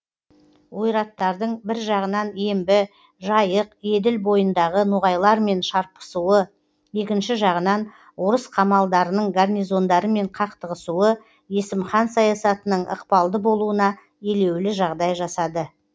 ойраттардың бір жағынан ембі жайық еділ бойындағы ноғайлармен шарпысуы екінші жағынан орыс қамалдарының гарнизондарымен қақтығысуы есім хан саясатының ықпалды болуына елеулі жағдай жасады